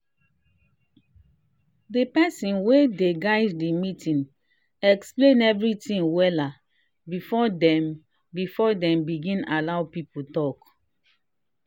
the person wey dey guide the meeting explain everything wella before dem before dem begin allow people talk.